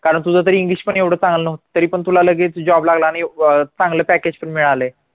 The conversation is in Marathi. कारण तुझं तर इंग्लिश पण एवढं चांगलं नह्व्त तरी पण तुला लगेच job लागला आणि चांगलं package पण मिळालंय